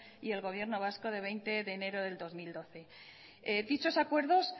y el gobierno vasco de veinte de enero de dos mil doce dichos acuerdos